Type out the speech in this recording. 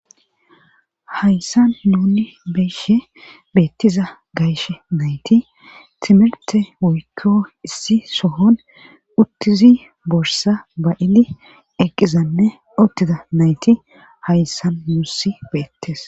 Hayssan nuuni be'ishe beetiza gashe nayti timirte oyde woykko issi sohon utizi borssa ba'izi eqqizanne utida nayti hayssan nuusi beetees.